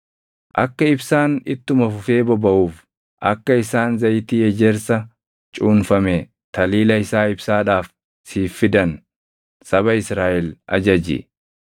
“Akka ibsaan ittuma fufee bobaʼuuf akka isaan zayitii ejersa cuunfame taliila isaa ibsaadhaaf siif fidan saba Israaʼel ajaji.